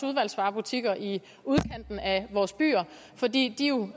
udvalgsvarebutikker i udkanten af vores byer fordi de